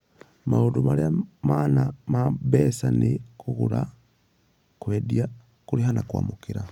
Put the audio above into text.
Maũndũ marĩa mana ma mbeca nĩ kũgũra, kwendia, kũrĩha, na kwamũkĩra.